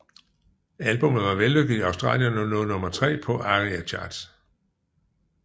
Albummet var vellykket i Australien og nåede nummer tre på ARIA Charts